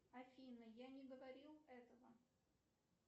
афина я не говорил этого